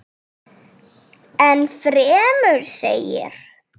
Enn fremur segir.